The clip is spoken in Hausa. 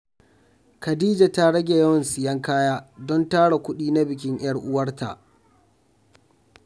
Khadija ta rage yawan siyan kaya don tara kudi na bikin ‘yar uwarta.